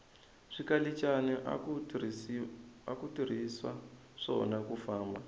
swikalichana aku tirhiswa swona kufamba